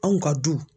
Anw ka du